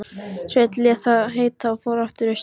Sveinn lét það gott heita og fór aftur austur.